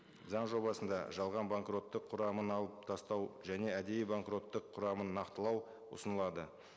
заң жобасында жалған банкроттық құрамын алып тастау және әдейі банкроттық құрамын нақтылау ұсынылады